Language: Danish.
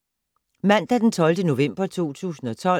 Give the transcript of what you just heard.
Mandag d. 12. november 2012